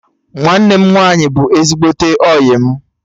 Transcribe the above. Nwanne m nwaanyị bụ ezigbote ọyị m